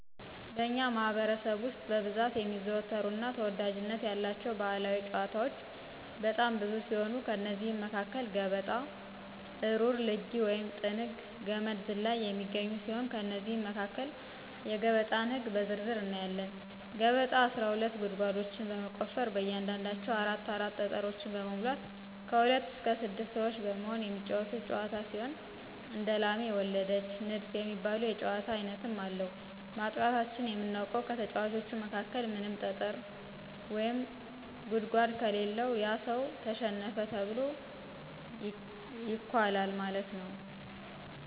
በእኛ ማህበረሰብ ውስጥ በብዛት የሚዘወተሩ እና ተወዳጅነት ያላቸው ባህላዊ ጫወታወች በጣም ብዙ ሲሆኑ ከእነዚህም መካከል ገበጣ፣ እሩር ልጊ(ጥንግ)፣ገመድ ዝላይ የሚገኙ ሲሆን ከእነዚህም መካከል የገበጣን ህግ በዝርዝር እናያለን። ገበጣ አስራ ሁለት ጉርጓዶችን በመቆፈር በእያንዳንዳቸው አራት አራት ጠጠሮችን በመሙላት ከሁለት እስከ ስድስት ሰወች በመሆን የሚጫወቱት ጫወታ ሲሆን እንደላሜ ወለደች፣ ንድፍ የሚባሉ የጫወታ አይነትም አለው፤ ማጥቃታችን የምናውቀው ከተጫዋቾቹ መካከል ምንም ጠጠር ወይም ጉርጓድ ከሌለው ያ ሰው ተሸነፈ ተብሎ ይኳላል ማለት ነው።